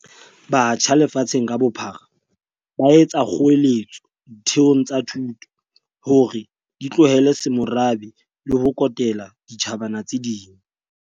Batjha lefatsheng ka bophara ba etsa kgoeletso ditheong tsa thuto hore di tlohele semorabe le ho kotela ditjhabana tse ding.